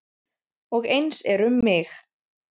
Og eins er um mig.